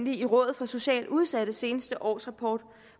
i rådet for socialt udsattes seneste årsrapport